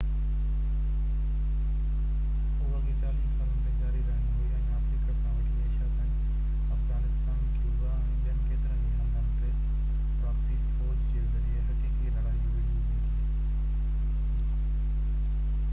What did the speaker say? اهو اڳين 40 سالن تائين جاري رهڻي هئي ۽ آفريقا کان وٺي ايشيا تائين افغانستان ڪيوبا ۽ ٻين ڪيترن ئي هنڌن تي پراڪسي فو ج جي ذريعي حقيقي لڙائي وڙهي ويندي